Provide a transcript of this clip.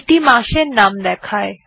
এইটি মাসের নাম দেয়